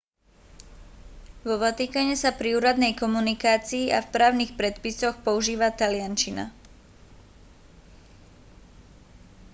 vo vatikáne sa pri úradnej komunikácii a v právnych predpisoch používa taliančina